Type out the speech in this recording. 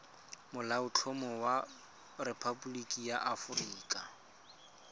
molaotlhomo wa rephaboliki ya aforika